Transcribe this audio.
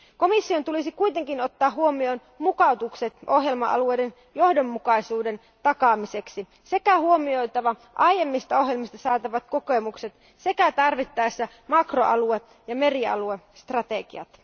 Komission tulisi kuitenkin ottaa huomioon mukautukset ohjelma alueiden johdonmukaisuuden takaamiseksi sekä huomioitava aiemmista ohjelmista saatavat kokemukset sekä tarvittaessa makroalue ja merialuestrategiat.